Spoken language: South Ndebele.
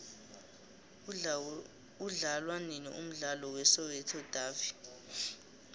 udlalwanini umdlalo we soweto davi